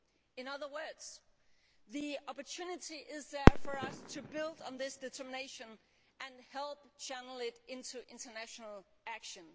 In other words, the opportunity is there for us to build on this determination and help channel it into international action.